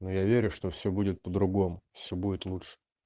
но я верю что все будет по-другому все будет лучше